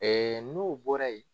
Ee n'o bɔra yen